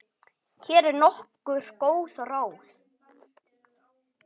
Hér eru nokkur góð ráð.